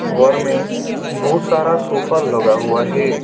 घर मे बहुत सारा सोफा लगा हुआ हे।